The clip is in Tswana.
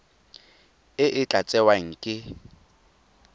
e e tla tsewang ke